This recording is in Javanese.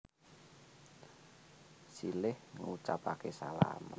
Silih ngucapaké salam